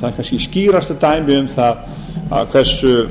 það er kannski skýrasta dæmið um það